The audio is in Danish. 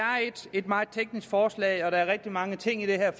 et meget teknisk forslag og der er rigtig mange ting i det her